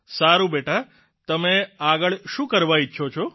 સારૂં બેટા તમે આગળ શું કરવા ઇચ્છો છો